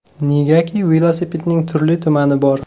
Negaki, velosipedning turli-tumani bor.